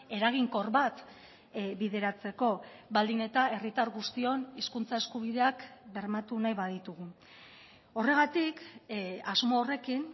eraginkor bat bideratzeko baldin eta herritar guztion hizkuntza eskubideak bermatu nahi baditugu horregatik asmo horrekin